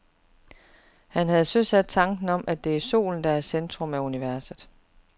Han havde søsat tanken om, at det er solen, der er i centrum af universet.